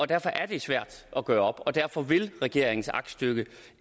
derfor er det svært at gøre op og derfor vil regeringens aktstykke